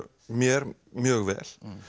mér mjög vel